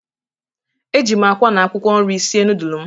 Eji m akwa na akwụkwọ nri sie nudul m.